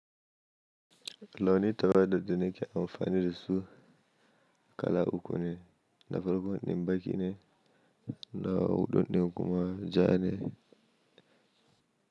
Launi taba da daddane ke amfani da su kala uku ne, na farko ɗin baƙi ne, na huɗu ɗin kuma ja ne.